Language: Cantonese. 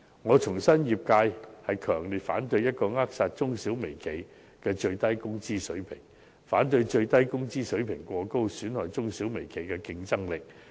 我重申，業界強烈反對扼殺中小微企的最低工資水平，亦反對最低工資水平過高，損害中小微企的競爭力。